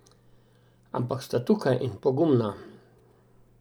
Ampak sta tukaj, in pogumna.